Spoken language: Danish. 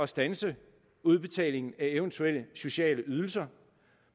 standse udbetalingen af eventuelle sociale ydelser